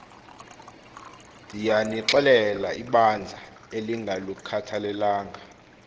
ndiyanixelela ibandla elingalukhathalelanga